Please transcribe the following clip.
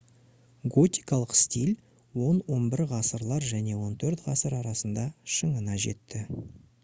готикалық стиль 10-11 ғасырлар және 14-ғасыр арасында шыңына жетті